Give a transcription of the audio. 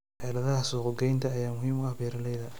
Xeeladaha suuq-geynta ayaa muhiim u ah beeralayda.